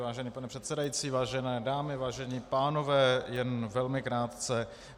Vážený pane předsedající, vážené dámy, vážení pánové, jen velmi krátce.